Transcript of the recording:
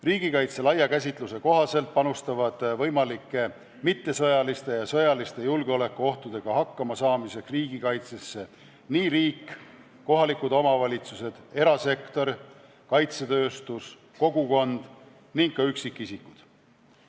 Riigikaitse laia käsituse kohaselt panustavad võimalike mittesõjaliste ja sõjaliste julgeolekuohtudega hakkama saamiseks riigikaitsesse riik, kohalikud omavalitsused, erasektor, kaitsetööstus, kogukond ning ka üksikisikud.